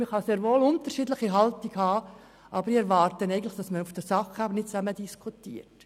Man kann sehr wohl unterschiedliche Haltungen haben, aber ich erwarte eigentlich, dass man auf der Sachebene zusammen diskutiert.